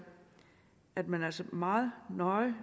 at man altså meget nøje